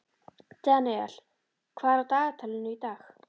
Daniel, hvað er á dagatalinu í dag?